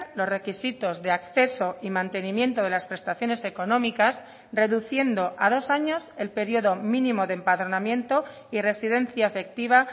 los requisitos de acceso y mantenimiento de las prestaciones económicas reduciendo a dos años el periodo mínimo de empadronamiento y residencia efectiva